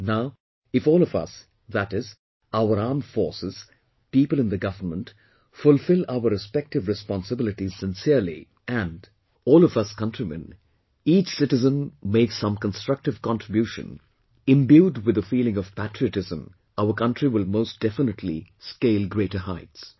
Now, if all of us, that is, our armed forces, people in the government, fulfill our respective responsibilities sincerely, and all of us countrymen, each citizen make some constructive contribution imbued with the feeling of patriotism, our country will most definitely scale greater heights